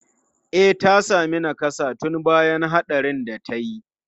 E, ta sami nakassa tun bayan hatsarin da ta yi.